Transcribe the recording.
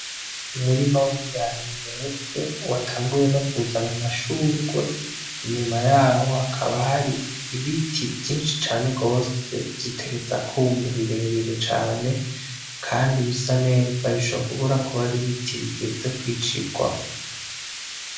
Umurima w'ibirayi weze watanguye no kuzana amashurwe, inyuma yaho hakaba hari ibiti vyinshi cane gose bitegerezwa kwuma birebere cane, kandi bisa neza bishobora kuba ari biti bigeze kw'icirwa.